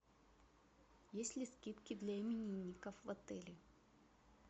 есть ли скидки для именинников в отеле